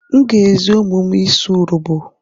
M ga-ezi ụmụ m ịsụ Urobo.